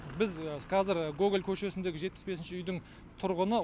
біз қазір гоголь көшесіндегі жетпіс бесінші үйдің тұрғыны